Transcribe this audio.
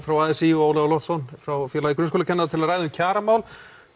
frá a s í og Ólafur Loftsson frá félagi grunnskólakennara til að ræða kjaramál